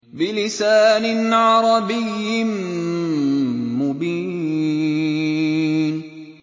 بِلِسَانٍ عَرَبِيٍّ مُّبِينٍ